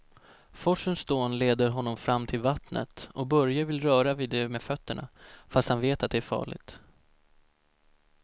Forsens dån leder honom fram till vattnet och Börje vill röra vid det med fötterna, fast han vet att det är farligt.